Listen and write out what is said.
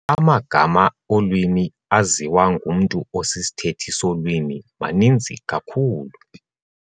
Amagama olwimi aziwa ngumntu osisithethi solwimi maninzi kakhulu.